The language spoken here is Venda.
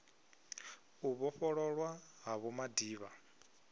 u vhofhololwa ha vho madiba